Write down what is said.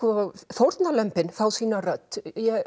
fórnarlömbin fá sína rödd